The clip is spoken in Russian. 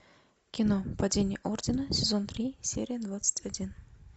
кино падение ордена сезон три серия двадцать один